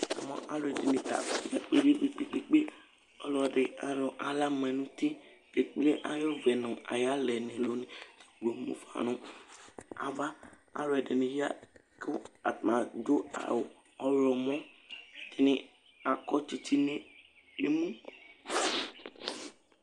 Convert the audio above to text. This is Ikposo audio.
Alʋɛdìní ta abʋ nu ɛmɛ kpe kpe kpe Ɔlɔdi ayɔ aɣla ma nʋ ʋti Ekple ayʋ ʋvu yɛ hafa nʋ ava Alʋɛdìní ya ku atani adu awu ɔwlɔmɔ kʋ atani akɔ tsitsi nʋ emu